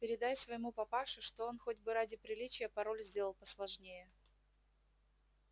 передай своему папаше что он хоть бы ради приличия пароль сделал посложнее